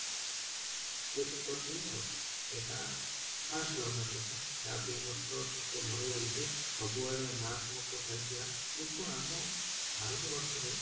ବ୍ୟତୀତ କରି ଥିଲେ ଆଉ, ଏଇଟା first lockdown କଥା ଯାହାକି ମତେ ତ ଟିକେ ଭଲ ଲାଗିଛି ସବୁଆଡେ ମାରାତ୍ମକ ଚାଲିଥିଲା କିନ୍ତୁ ଆମ ଭାରତବର୍ଷରେ